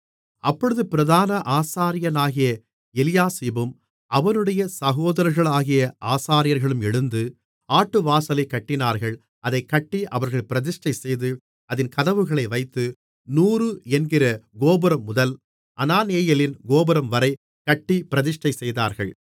அப்பொழுது பிரதான ஆசாரியனாகிய எலியாசிபும் அவனுடைய சகோதரர்களாகிய ஆசாரியர்களும் எழுந்து ஆட்டுவாசலைக் கட்டினார்கள் அதைக் கட்டி அவர்கள் பிரதிஷ்டைசெய்து அதின் கதவுகளை வைத்து நூறு என்கிற கோபுரம்முதல் அனானெயேலின் கோபுரம்வரைக் கட்டிப் பிரதிஷ்டை செய்தார்கள்